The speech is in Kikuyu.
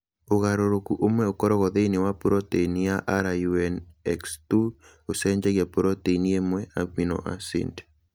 Ũgarũrũku ũmwe ũkoragwo thĩinĩ wa proteini ya RUNX2 ũcenjagia proteini ĩmwe (amino acid).